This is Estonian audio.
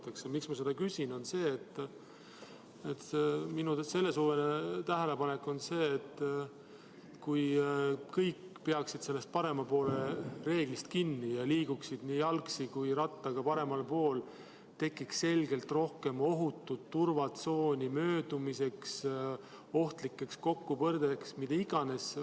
Põhjus, miks ma seda küsin, on see, et minu selle suve tähelepanek on selline, et kui kõik peaksid parema poole reeglist kinni ja liiguksid nii jalgsi kui ka rattaga paremal pool, tekiks möödumiseks selgelt rohkem ohutut turvatsooni, vähem võimalusi ohtlikeks kokkupõrgeteks.